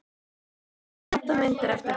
Svo þyrfti að panta myndir eftir þeim.